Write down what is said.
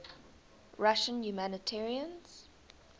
russian humanitarians